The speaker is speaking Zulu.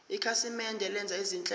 ikhasimende lenza izinhlelo